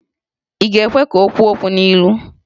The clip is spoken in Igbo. Ị ga-ekwe ka o kwuo okwu n'ilu?